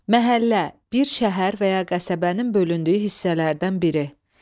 Məhəllə – bir şəhər və ya qəsəbənin bölündüyü hissələrdən biri.